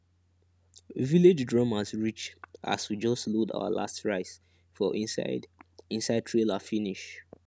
village drummers reach as we just load our last rice for inside inside trailer finish